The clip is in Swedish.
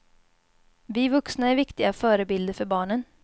Vi vuxna är viktiga förebilder för barnen.